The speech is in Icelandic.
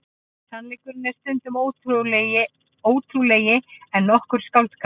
Sannleikurinn er stundum ótrúlegri en nokkur skáldskapur.